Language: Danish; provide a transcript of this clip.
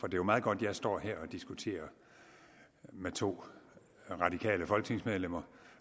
jo meget godt jeg står her og diskuterer med to radikale folketingsmedlemmer